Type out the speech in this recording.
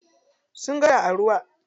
Sun ga kada a ruwa.